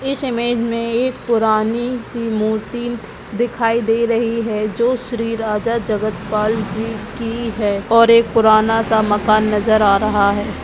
इस इमेज में पुरानी सी मूर्ति दिखाई दे रही है जो श्री राजा जगतपाल जी की है और एक पुराना सा मकान नजर आ रहा है।